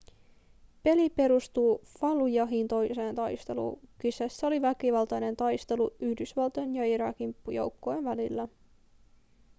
peli perustuu fallujahin toiseen taisteluun kyseessä oli väkivaltainen taistelu yhdysvaltojen ja irakin joukkojenvälillä